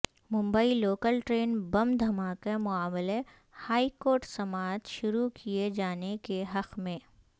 Mumbai local train bomb دھماکہ معاملہ high court سماعت شروع کیئے جانے کے حق میں